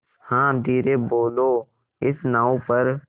हाँ धीरे बोलो इस नाव पर